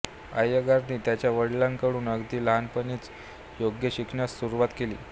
अय्यंगारांनी त्यांच्या वडिलांकडून अगदी लहानपणीच योग शिकण्यास सुरुवात केली